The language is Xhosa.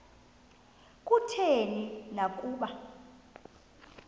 kutheni na ukuba